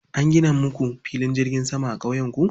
An gina muku filin jirgin sama a ƙauyenku?